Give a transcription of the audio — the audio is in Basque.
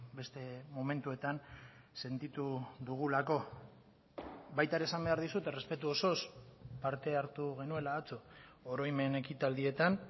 beste momentuetan sentitu dugulako baita ere esan behar dizut errespetu osoz parte hartu genuela atzo oroimen ekitaldietan